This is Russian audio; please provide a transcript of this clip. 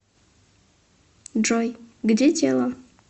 джой где тело